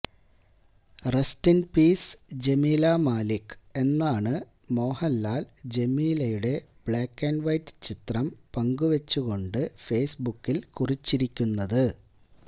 rest in peace Jameela Malik എന്നാണ് മോഹൻലാൽ ജമീലയുടെ black and white ചിത്രം പങ്കുവെച്ചുകൊണ്ട് ഫേസ്ബുക്കിൽ കുറിച്ചിരിക്കുന്നത്